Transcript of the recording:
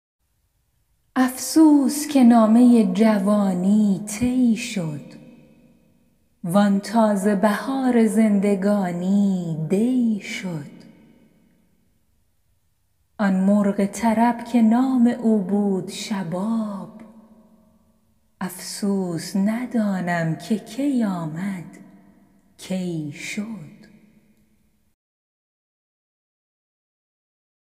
افسوس که نامه جوانی طی شد وآن تازه بهار زندگانی دی شد آن مرغ طرب که نام او بود شباب افسوس ندانم که کی آمد کی شد